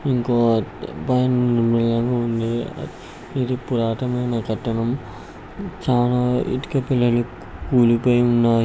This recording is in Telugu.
ఇంకో ఇది పురాతనమైనా కట్టడం చాల ఇటుక బిళ్ళలు కూలిపోయి ఉన్నాయి.